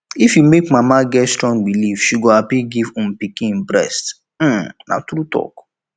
if you make mama mama get strong believe she go happy give um pikin breast um na tru talk